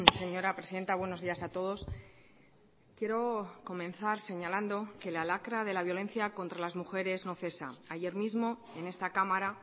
señora presidenta buenos días a todos quiero comenzar señalando que la lacra de la violencia contra las mujeres no cesa ayer mismo en esta cámara